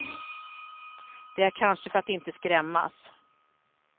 Det är kanske för att inte skrämmas.